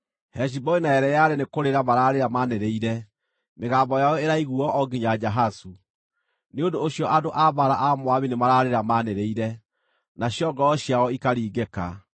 Heshiboni na Eleale nĩkũrĩra maraarĩra maanĩrĩire, mĩgambo yao ĩraiguuo o nginya Jahazu. Nĩ ũndũ ũcio andũ a mbaara a Moabi nĩmararĩra maanĩrĩire, nacio ngoro ciao ikaringĩka.